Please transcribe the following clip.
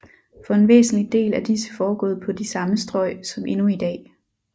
For en væsentlig del er disse foregået på de samme strøg som endnu i dag